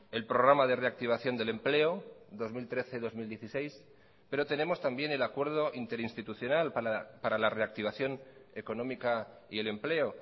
el programa de reactivación del empleo dos mil trece dos mil dieciséis pero tenemos también el acuerdo interinstitucional para la reactivación económica y el empleo